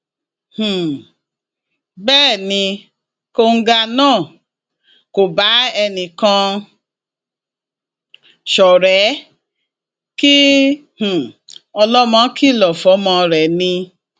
um bẹẹ ni kóńgá náà kò bá ẹnìkan ṣọrẹ kí um ọlọmọ kìlọ fọmọ rẹ ni